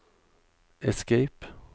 escape